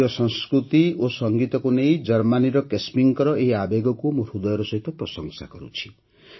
ଭାରତୀୟ ସଂସ୍କୃତି ଓ ସଂଗୀତକୁ ନେଇ ଜର୍ମାନୀର କେସ୍ମୀଙ୍କ ଏହି ଆବେଗକୁ ମୁଁ ହୃଦୟର ସହିତ ପ୍ରଶଂସା କରୁଛି